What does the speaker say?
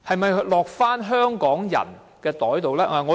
是否落入香港人的口袋？